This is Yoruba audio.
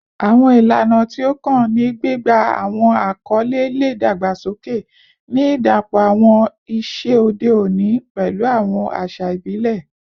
Awọn ilana ti o kan ni gbigba awọn akọle le dagbasoke, ni idapọ awọn iṣe ode oni pẹlu awọn aṣa ibile